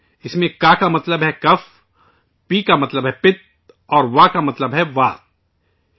اس میں ' کا ' کا مطلب ہے کف ،' پی ' کا مطلب ہے پت اور ' وا ' کا مطلب ہے ' وات '